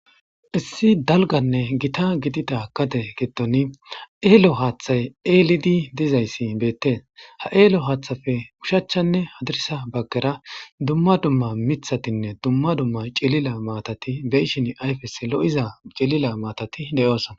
Issi dalganne gita gidida kade giddon eelo haaththay eelidi dizayssi beettees. ha eelo haaththappe ushachanne hadirisa baggera dumma dumma mithatinne dumma dumma cilila maatati beyishin ayfes lo7iza cilila maatati de7oosana.